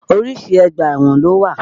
Oríṣi ọgbà ẹ̀wọ̀n ló wà.